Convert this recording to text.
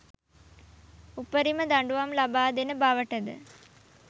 උපරිම දඬුවම් ලබාදෙන බවට ද